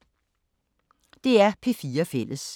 DR P4 Fælles